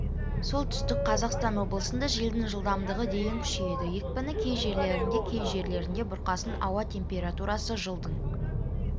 солтүстік қазақстан облысында желдің жылдамдығы дейін күшейеді екпіні кей жерлерінде кей жерлерінде бұрқасын ауа температурасы жылдың